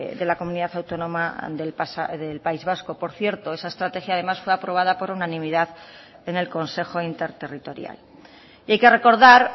de la comunidad autónoma del país vasco por cierto esa estrategia además fue aprobada por unanimidad en el consejo interterritorial y hay que recordar